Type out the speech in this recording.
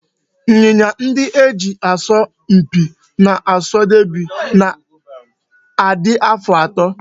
Ịnyịnya ndị e ji asọ mpi n'oso deby na-adị afọ atọ